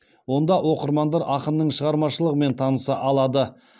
онда оқырмандар ақынның шығармашылығымен таныса алады